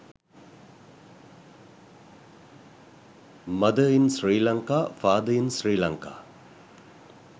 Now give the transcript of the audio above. mother in sri lanka father in sri lanka